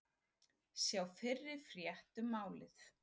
Sjá fyrri frétt um málið